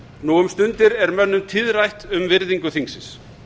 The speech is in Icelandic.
nú um stundir er mönnum tíðrætt um virðingu þingsins